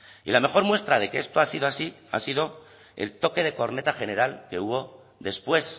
y la mejor muestra de que esto ha sido así ha sido el toque de corneta general que hubo después